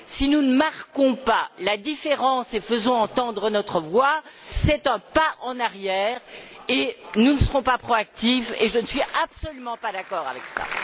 Si nous ne marquons pas la différence et faisons entendre notre voix, c'est un pas en arrière, et nous ne serons pas proactifs et je ne suis absolument pas d'accord avec ça.